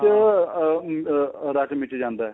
ਵਿੱਚ ਆਹ ਰੱਚ ਮਿਚ ਜਾਂਦਾ ਏ